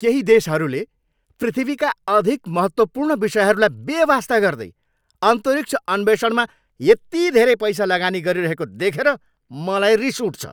केही देशहरूले पृथ्वीका अधिक महत्त्वपूर्ण विषयहरूलाई बेवास्ता गर्दै अन्तरिक्ष अन्वेषणमा यति धेरै पैसा लगानी गरिरहेको देखेर मलाई रिस उठ्छ।